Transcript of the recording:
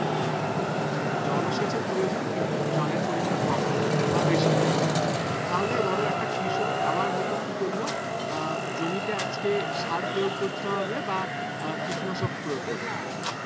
মানে জলসেচের প্রয়োজন কিন্তু জলের পরিমান কম লাগে বা বেশি লাগে তাহলে ধরো একটা কৃষক আবার হয়তো কি করলো আহ জমিতে আজকে সার প্রয়োগ করতে হবে বা আহ কীটনাশক প্রয়োগ করতে হবে